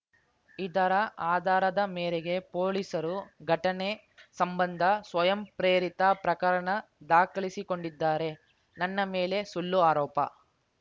ಇದರ ಆಧಾರದ ಮೇರೆಗೆ ಪೊಲೀಸರು ಘಟನೆ ಸಂಬಂಧ ಸ್ವಯಂಪ್ರೇರಿತ ಪ್ರಕರಣ ದಾಖಲಿಸಿಕೊಂಡಿದ್ದಾರೆ ನನ್ನ ಮೇಲೆ ಸುಳ್ಳು ಆರೋಪ